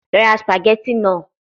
Lọ ra spaghetti naa